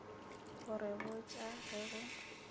go re botša ge go